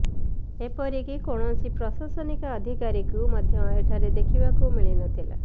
ଏପରିକି କୈାଣସି ପ୍ରଶାସନିକ ଅଧିକାରୀଙ୍କୁ ମଧ୍ୟ ଏଠାରେ ଦେଖିବାକୁ ମିଲିନଥିଲା